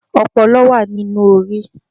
ọpọlọ wa ní inú orí